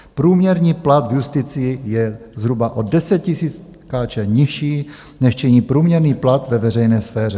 Průměrný plat v justici je zhruba o 10 000 korun nižší, než činí průměrný plat ve veřejné sféře.